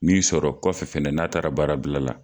Min sɔrɔ kɔfɛ n'a taara baara bila la.